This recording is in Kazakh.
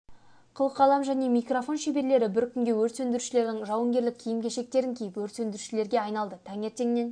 қыл қалам және микрофон шеберлері бір күнге өрт сөндірушілердің жауынгерлік киім-кешектерін киіп өрт сөндірушілерге айналды таңертеңнен